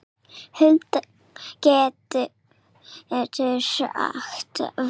Hulda getur átt við